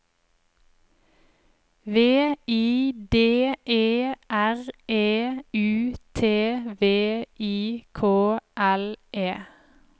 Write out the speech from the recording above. V I D E R E U T V I K L E